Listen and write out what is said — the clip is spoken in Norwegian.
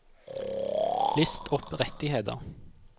list opp rettigheter